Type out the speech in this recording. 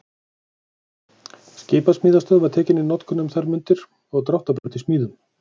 Skipasmíðastöð var tekin í notkun um þær mundir og dráttarbraut í smíðum.